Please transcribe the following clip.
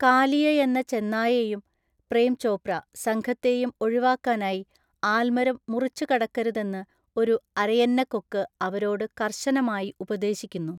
കാലിയയെന്ന ചെന്നായെയും (പ്രേം ചോപ്ര) സംഘത്തെയും ഒഴിവാക്കാനായി ആൽമരം മുറിച്ചുകടക്കരുതെന്ന് ഒരു അരയന്നക്കൊക്ക് അവരോട് കർശനമായി ഉപദേശിക്കുന്നു.